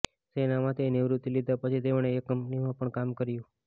સેનામાંથી નિવૃત્તિ લીધા પછી તેમણે એક કંપનીમાં પણ કામ કર્યું